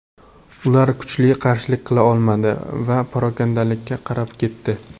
Ular kuchli qarshilik qila olmadi va parokandalikka qarab ketdi.